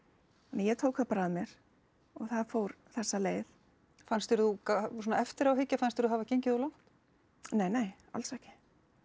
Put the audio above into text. ég tók það bara að mér og það fór þessa leið fannst þér þú svona eftir á að hyggja fannst þér þú hafa gengið of langt neinei alls ekki